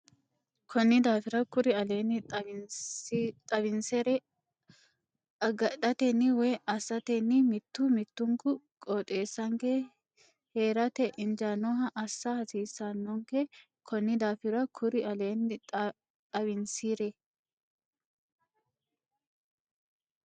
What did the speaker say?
Konni daafira kuri aleenni xawinsire agadhatenni woy assatenni mittu mittunku qooxeessanke hee rate injaannoha assa hasiissannonke Konni daafira kuri aleenni xawinsire.